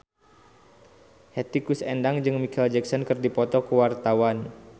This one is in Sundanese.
Hetty Koes Endang jeung Micheal Jackson keur dipoto ku wartawan